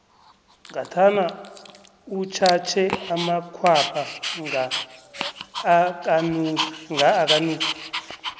ngathana utjhatjhe amakhwapha nga akanuki